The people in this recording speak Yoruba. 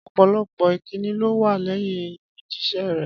Ọ̀pọ̀lọpọ̀ ìkíni ló wà lẹ́yìn ìfijíṣẹ́ rẹ̀.